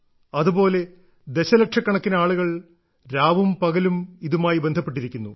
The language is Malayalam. അതുപോലെ ദശലക്ഷക്കണക്കിന് ആളുകൾ രാവും പകലും ഇതുമായി ബന്ധപ്പെട്ടിരിക്കുന്നു